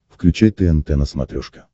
включай тнт на смотрешке